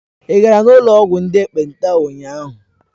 Ị gara n'ụlọ ọgwụ ndị ekpenta ụnyahụ?